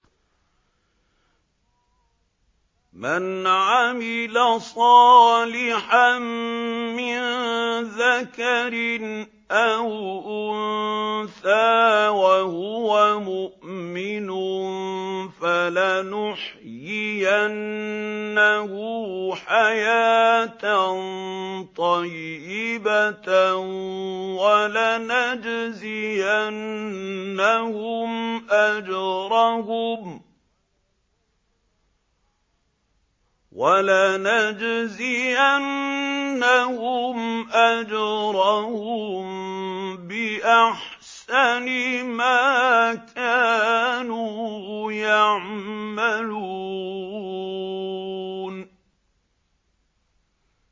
مَنْ عَمِلَ صَالِحًا مِّن ذَكَرٍ أَوْ أُنثَىٰ وَهُوَ مُؤْمِنٌ فَلَنُحْيِيَنَّهُ حَيَاةً طَيِّبَةً ۖ وَلَنَجْزِيَنَّهُمْ أَجْرَهُم بِأَحْسَنِ مَا كَانُوا يَعْمَلُونَ